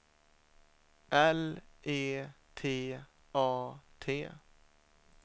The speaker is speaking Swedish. L E T A T